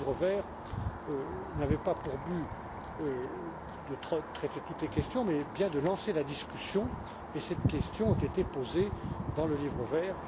Le livre vert n'avait pas pour but de traiter toutes les questions mais de lancer la discussion, et cette question a été posée dans le livre vert.